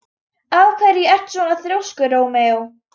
Af hverju ertu svona þrjóskur, Rómeó?